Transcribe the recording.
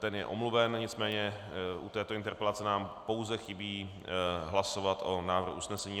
Ten je omluven, nicméně u této interpelace nám pouze chybí hlasovat o návrhu usnesení.